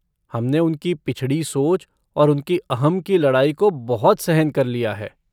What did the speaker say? हमने उनकी पिछड़ी सोच और उनकी अहं की लड़ाई को बहुत सहन कर लिया है।